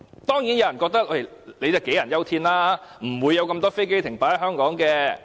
當然，有人覺得這是杞人憂天，根本不會有那麼多飛機在香港停泊。